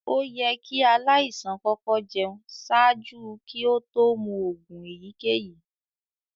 Oyẹ̀ kí alaisàn kọkọ̀ jẹún ṣaajú kí òtó mú oogun èyíkẹ̀yí.